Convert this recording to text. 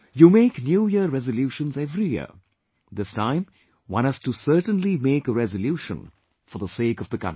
You make New Year resolutions every year...this time one has to certainly make a resolution for the sake of the country